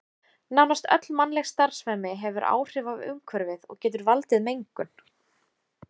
Nánast öll mannleg starfsemi hefur áhrif á umhverfið og getur valdið mengun.